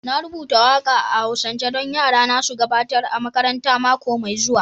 Na rubuta waka a'Hausance don yarana su gabatar a makaranta mako mai zuwa